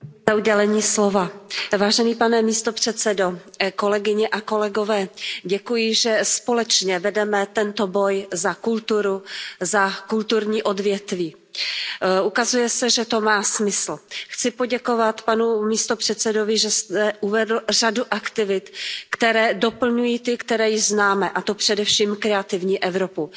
Paní předsedající, pane místopředsedo, děkuji, že společně vedeme tento boj za kulturu, za kulturní odvětví. Ukazuje se, že to má smysl. Chci poděkovat panu místopředsedovi, že zde uvedl řadu aktivit, které doplňují ty, které již známe, a to především Kreativní Evropu.